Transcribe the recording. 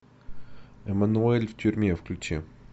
эммануэль в тюрьме включи